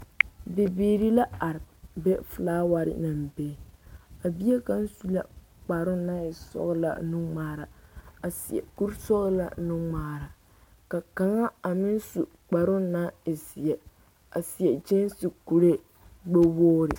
Bibiiri la are be felaaware naŋ be a bie kaŋ su la kparoo naŋ e sɔgelaa nuŋmaara a seɛ kuri sɔgelaa nuŋmaara ka kaŋa a meŋ su kparoo naŋ e zeɛ a seɛ kyeese kuree gbɛ woori